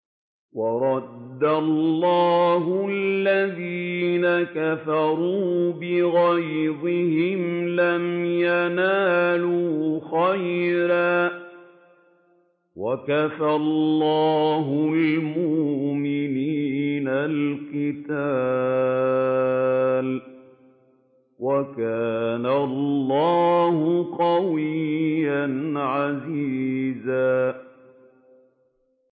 وَرَدَّ اللَّهُ الَّذِينَ كَفَرُوا بِغَيْظِهِمْ لَمْ يَنَالُوا خَيْرًا ۚ وَكَفَى اللَّهُ الْمُؤْمِنِينَ الْقِتَالَ ۚ وَكَانَ اللَّهُ قَوِيًّا عَزِيزًا